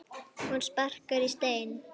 Hún sparkar í stein.